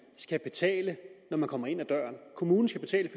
skal betale når man kommer ind ad døren kommunen skal betale